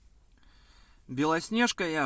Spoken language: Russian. белоснежка я